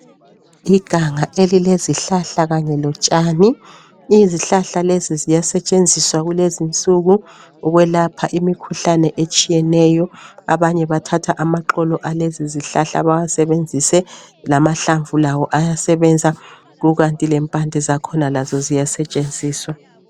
Iganga elilezihlahla kanye lotshani. Izihlahla lezi ziyasetshenziswa kulezinsuku ukwelapha imikhuhlane etshiyeneyo. Abanye bathatha amaxolo alezizihlahla bawasebenzise, lamahlamvu lawo ayasebenza kukanti lempande zakhona ziyasetshenziswa.